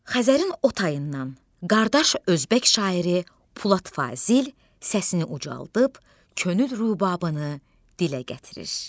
Xəzərin o tayından qardaş özbək şairi Pulat Fazil səsini ucaldıb, könül rubabını dilə gətirir.